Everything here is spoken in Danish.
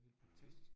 Mh